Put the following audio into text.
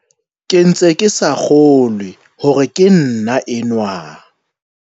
"Ke ntse ke sa kgolwe hore ke nna enwa."